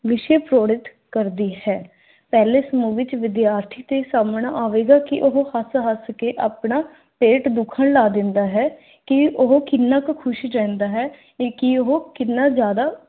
ਵਿਸ਼ੇ ਕਰਦੀ ਹੈ। ਪਹਿਲੇ ਸਮੂਹ ਵਿੱਚ ਵਿਦਿਆਰਥੀ ਤੇ ਸਾਮਣ ਆਵੇਗਾ ਕੀ ਉਹ ਹੱਸ-ਹੱਸ ਕੇ ਆਪਣਾ ਪੇਟ ਦੁਖਣ ਲਾ ਦਿੰਦਾ ਹੈ, ਕੀ ਉਹ ਕਿੰਨਾ ਕ ਖੁਸ਼ ਰਹਿੰਦਾ ਹੈ, ਕੀ ਉਹ ਕਿੰਨਾ ਜ਼ਿਆਦਾ